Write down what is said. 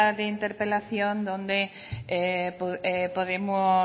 de interpelación donde podemos